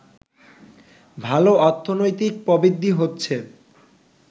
ভাল অর্থনৈতিক প্রবৃদ্ধি হচ্ছে